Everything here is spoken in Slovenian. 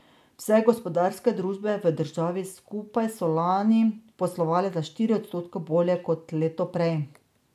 Vse gospodarske družbe v državi skupaj so lani poslovale za štiri odstotke bolje kot leto prej.